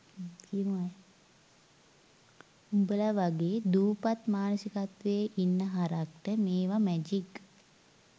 උඹල වගේ දූපත් මානසිකත්වයේ ඉන්න හරක්ට මේව මැජික්